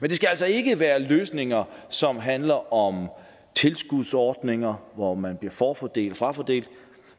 men det skal altså ikke være løsninger som handler om tilskudsordninger hvor man bliver forfordeltfrafordelt